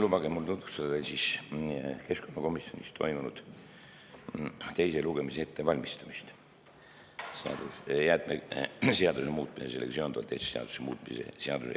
Lubage mul tutvustada keskkonnakomisjonis toimunud jäätmeseaduse muutmise ja sellega seonduvalt teiste seaduste muutmise seaduse eelnõu teise lugemise ettevalmistamist.